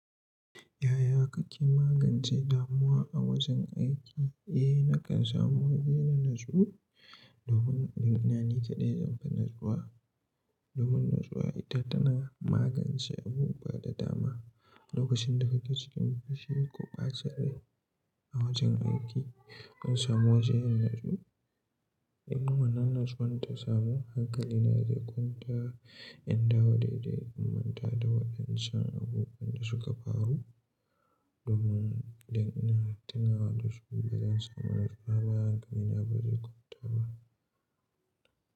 Yaya kake magance damuwa a wajen aiki? Eh, nakan samu waje na natsuwa, domin aganina ni kaɗai zanfi nutsuwa. Domin nutsuwa ita tana magance abubuwa da dama. Lokacin da kake cikin fushi ko bacin rai a wajen aiki, in samu waje in nutsu, in wannan nutsuwan ta samu hankali na zai kwanta. In dawo daidai, in manta da waɗancan abubuwan da suka faru. Domin dan ina tunawa da su bazan samu nutsuwa ba, hankali na ba zai kwanta ba.